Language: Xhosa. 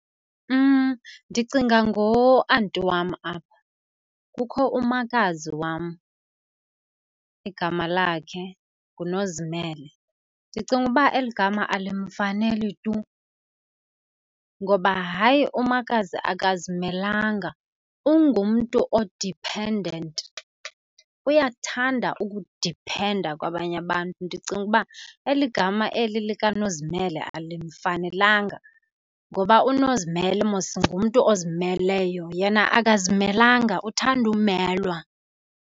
Ndicinga ngoanti wam apha. Kukho umakazi wam, igama lakhe nguNozimele. Ndicinga uba eli gama alimfaneli tu ngoba hayi umakazi akazimelanga, ungumntu o-dependant, uyakuthanda ukudiphenda kwabanye abantu. Ndicinga uba eli gama eli likaNozimele alimfanelanga ngoba uNozimele mos ngumntu ozimeleyo yena akazimelanga, uthanda umelwa.